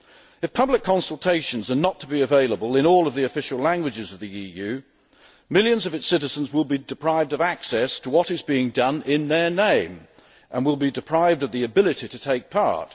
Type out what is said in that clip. If public consultations are not to be available in all of the official languages of the EU, millions of its citizens will be deprived of access to what is being done in their name, and will be deprived of the ability to take part.